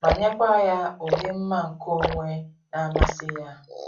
ma nyekwa ya ụdị mma nke onwe na-amasị ya